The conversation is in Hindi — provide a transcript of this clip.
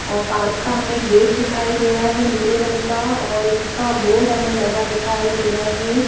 और पार्क का हमें गेट दिखाई दे रहा है नीले रंग का और इसका बोर्ड हमें लगा दिखाई दे रहा है।